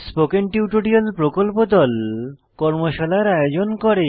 spoken tutorial প্রকল্প দল কর্মশালার আয়োজন করে